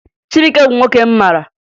Chibuike bụ nwoke m mara